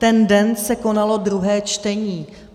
Ten den se konalo druhé čtení.